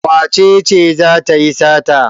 Wace ce za ta yi sata?